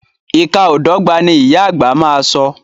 Ìka o dọ́gba, ni ìyá àgbà má a so.